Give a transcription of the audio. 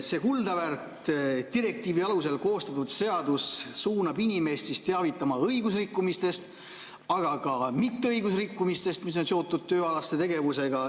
See kuldaväärt direktiivi alusel koostatud seadus suunab inimesi teavitama õigusrikkumistest, aga ka mitteõigusrikkumistest, mis on seotud tööalaste tegevustega.